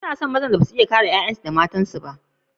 Banna son mazan da ba za su iya kare matansu da ’ya’yansu ba.